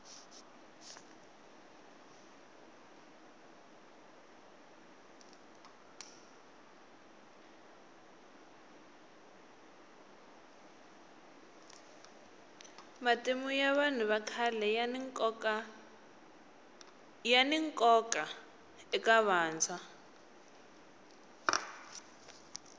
matimu ya vanhu vakhale yani nkoka eka vantshwa